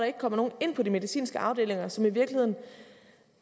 ikke kommer nogen ind på de medicinske afdelinger som i virkeligheden